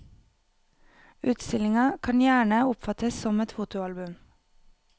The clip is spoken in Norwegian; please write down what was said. Utstillingen kan gjerne oppfattes som et fotoalbum.